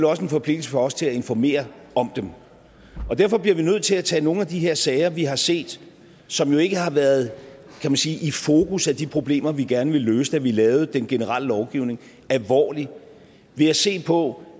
også en forpligtelse for os til at informere om dem og derfor bliver vi nødt til at tage nogle af de her sager vi har set som jo ikke har været i fokus for de problemer vi gerne ville løse da vi lavede den generelle lovgivning alvorligt ved at se på